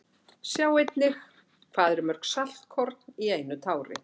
Sjá einnig Hvað eru mörg saltkorn í einu tári?